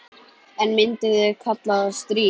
En myndu þau kalla það stríð?